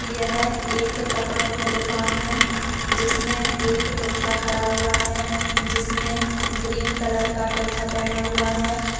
यह एक कपड़ों की दुकान है जिसमें से एक पुतला खड़ी हुआ है जिसने ग्रीन कलर का कुर्ता पहना हुआ है।